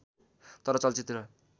तर चलचित्र